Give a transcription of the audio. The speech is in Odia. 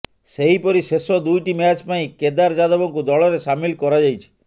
ସେହିପରି ଶେଷ ଦୁଇଟି ମ୍ୟାଚ ପାଇଁ କେଦାର ଯାଦବଙ୍କୁ ଦଳରେ ସାମିଲ କରାଯାଇଛି